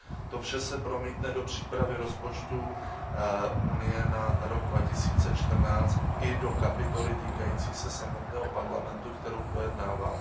To vše se promítne do přípravy rozpočtu Unie na rok 2014 i do kapitoly týkající se samotného Parlamentu, kterou projednáváme.